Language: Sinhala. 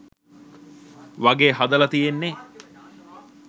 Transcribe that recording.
වගේ හදල තියෙන්නේ.